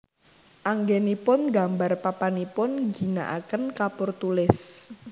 Anggénipun nggambar papanipun ngginakaken kapur tulis